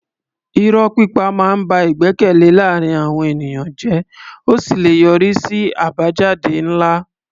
Irọ́ pípa máa ń ba ìgbẹ́kẹ̀lé láàárín àwọn ènìyàn jẹ́ ó sì lè yọrí sí àbájáde ńlá.